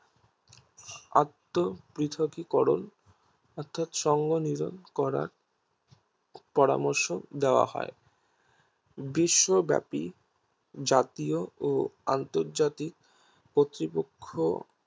আত্ম পৃথকীকরণ অর্থাৎ সঙ্গে মিলন করার পরামর্শ দেওয়া হয় বিশ্ব ব্যাপী জাতীয় ও আন্ত্জাতিক কর্তপক্ষ